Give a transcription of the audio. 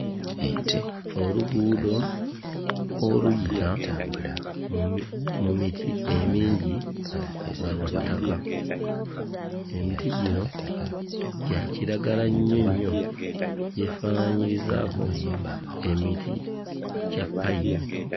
Oluguudo oluyita mu mi mu miti emingi nga lwa ttaka, emiti gino gya kiragala nnyo nnyo, gyefaananyirizaako emiti gya ppayini.